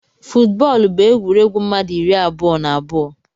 Footbọl bu egwuregwu mmadu iri abụọ na abụọ.